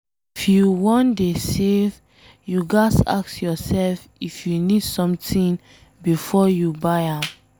If you wan dey save, you ghas ask yourself if you need something before you buy am